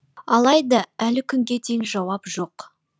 алайда әлі күнге дейін жауап жоқ